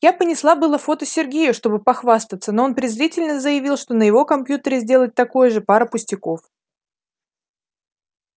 я понесла было фото сергею чтобы похвастаться но он презрительно заявил что на его компьютере сделать такое же пара пустяков